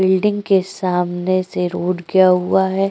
Building के सामने से रोड गया हुआ है।